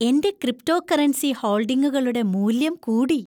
എന്‍റെ ക്രിപ്റ്റോകറൻസി ഹോൾഡിംഗുകളുടെ മൂല്യം കൂടി.